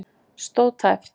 Stóð tæpt